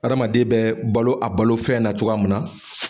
Adamaden bɛ balo a balofɛn na cogoya mun na.